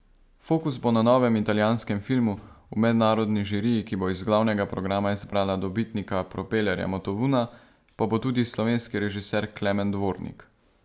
Fokus bo na novem italijanskem filmu, v mednarodni žiriji, ki bo iz glavnega programa izbrala dobitnika propelerja Motovuna, pa bo tudi slovenski režiser Klemen Dvornik.